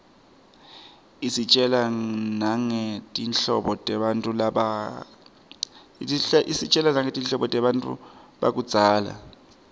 isitjela nangetimphilo tebantfu bakudzala